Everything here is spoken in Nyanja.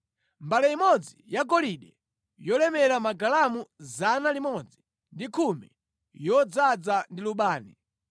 mbale imodzi yagolide yolemera magalamu 110, yodzaza ndi lubani;